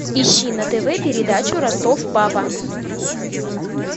ищи на тв передачу ростов папа